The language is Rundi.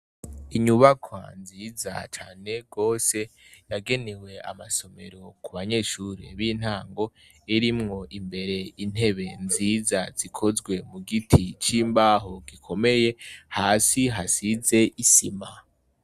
Inyubakwa nziza cane gose. Yagenewe amasomero kubanyeshure b'intango, irimwo imbere intebe nziza zikozwe mugiti c'imbaho gikomeye hasi hasize isima.